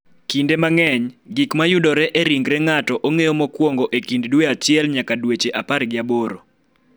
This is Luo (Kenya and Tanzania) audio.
Kinde mang�eny, gik ma yudore e ringre ng�ato ong�eyo mokuongo e kind dwe achiel nyaka dweche apar gi aboro.